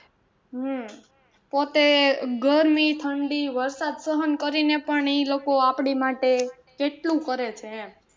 હમ પોતે ગરમી, ઠંડી, વરસાદ સહન કરીને પણ ઈ લોકો આપડી માટે કેટલું કરે છે એમ